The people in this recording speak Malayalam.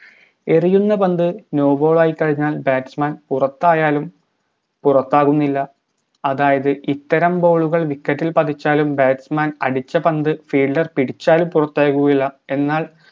എറിയുന്ന പന്ത് no ball ആയിക്കഴിഞ്ഞാലും batsman പുറത്തായാലും പുറത്താകുന്നില്ല അതായത് ഇത്തരം ball കൾ wicket ഇൽ പതിച്ചാലും batsman അടിച്ച പന്ത് fielder പിടിച്ചാലും പുറത്താകുകയില്ല എന്നാൽ